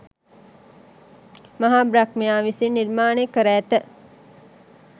මහා බ්‍රහ්මයා විසින් නිර්මාණය කර ඇත.